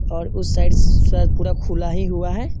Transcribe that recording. और उस साइड से शायद पूरा खुला ही हुआ है।